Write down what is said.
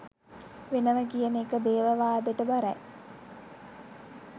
වෙනව කියන එක දේවවාදෙට බරයි